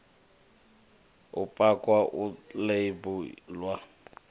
u pakwa u ḽeibu ḽwa